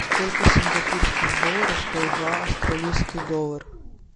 сколько сингапурских долларов стоит два австралийский доллар